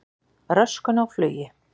Röskun á flugi